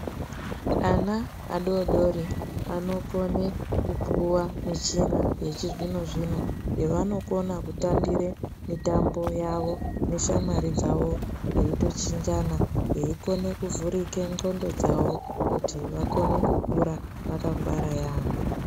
Ana adodori anokone kupuwa michina yechizvino zvino yevanokona kutambire mitambo yavo neshamwari dzavo veitochinjana veikone kuvhurike ndxondo dzavo kuti vakone kukura vakangwara yaambho.